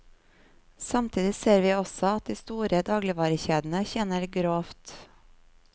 Samtidig ser vi også at de store dagligvarekjedene tjener grovt.